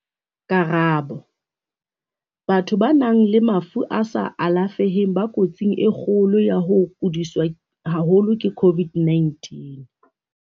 Karabo- Batho ba nang le mafu a sa alafeheng ba ko tsing e kgolo ya ho kodiswa haholo ke COVID-19.